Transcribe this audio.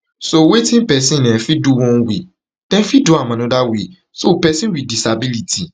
so wetin pesin um fit do one way dem fit do am anoda way so pesin wit disability